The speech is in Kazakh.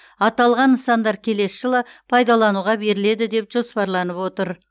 аталған нысандар келесі жылы пайдалануға беріледі деп жоспарланып отыр